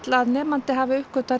að nemandi hafi uppgötvað